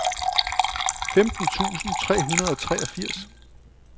femten tusind tre hundrede og treogfirs